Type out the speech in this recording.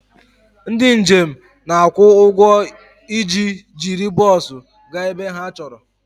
Ndị njem na-akwụ ụgwọ iji jiri bọs gaa ebe ha chọrọ